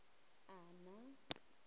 ana